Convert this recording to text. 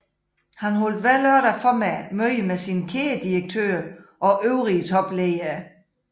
Han holdt hver lørdag formiddag møde med sine kædedirektører og øvrige topledere